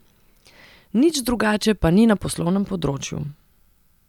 Nič drugače pa ni na poslovnem področju.